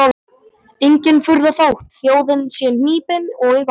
Engin furða þótt þjóðin sé hnípin og í vanda.